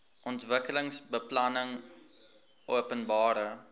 ontwikkelingsbeplanningopenbare